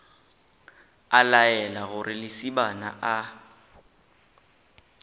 a laela gore lesibana a